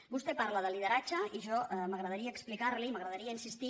vostè parla de lideratge i a mi m’agradaria explicar·li m’agradaria insistir